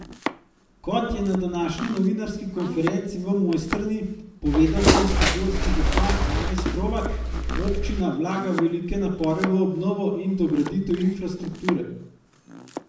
Kot je na današnji novinarski konferenci v Mojstrani povedal kranjskogorski župan Janez Hrovat, občina vlaga velike napore v obnovo in dograditev infrastrukture.